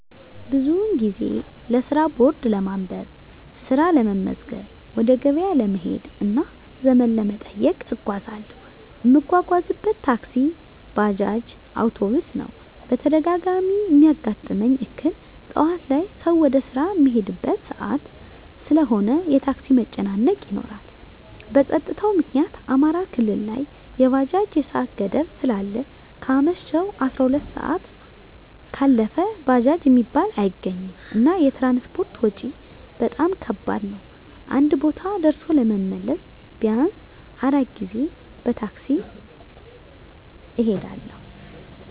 ብዙ ጊዜ ለስራ ቦርድ ለማንበብ፣ ስራ ለመመዝገብ፣ ወደ ገበያ ለመሄድ እና ዘመድ ለመጠየቅ እጓዛለሁ። እምጓጓዝበት ታክሲ፣ ባጃጅ፣ አዉቶቢስ ነዉ። በተደጋጋሚ እሚያጋጥመኝ እክል ጠዋት ላይ ሰዉ ወደ ስራ እሚሄድበት ሰአት ስለሆነ የታክሲ መጨናነቅ ይኖራል። በፀጥታዉ ምክኒያት አማራ ክልል ላይ የባጃጅ የሰአት ገደብ ስላለ ከአመሸሁ 12 ሰአት ካለፈ ባጃጅ እሚባል አይገኝም። እና የትራንስፖርት ወጭ በጣም ከባድ ነዉ አንድ ቦታ ደርሶ ለመመለስ ቢያንስ 4 ጊዜ በታክሲ እሄዳለሁ።